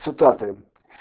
цитаты